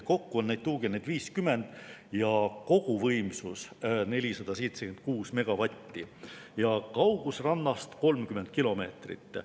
Kokku on neid tuugeneid 50, koguvõimsus 476 megavatti ja kaugus rannast 30 kilomeetrit.